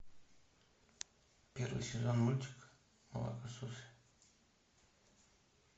первый сезон мультика молокососы